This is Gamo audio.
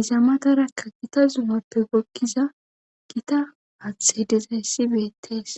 izamatarakka gita zuumappe gokkiza gita haaththe hidezayssi beettees